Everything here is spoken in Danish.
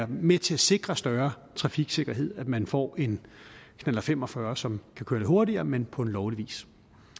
med til at sikre større trafiksikkerhed at man får en knallert fem og fyrre som kan køre lidt hurtigere men på lovlig vis